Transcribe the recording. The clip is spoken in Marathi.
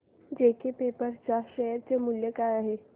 जेके पेपर च्या शेअर चे मूल्य काय आहे